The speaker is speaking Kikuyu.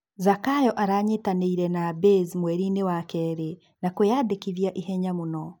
Zakayo aranyitanĩire na Baze mwerinĩ wa keri na kwi andĩkitha ihenya mũno.